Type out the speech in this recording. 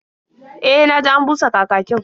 E, na ji an busa kakakin.